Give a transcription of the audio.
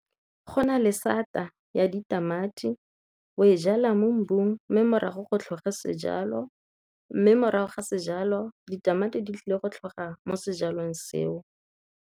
Go na le sata ya ditamati, o e jalwa mo mmung mme morago go tlhoge sejalo, mme morago ga sejalo ditamati di tlile go tlhoga mo sejalong seo.